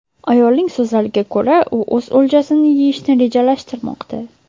Ayolning so‘zlariga ko‘ra, u o‘z o‘ljasini yeyishni rejalashtirmoqda.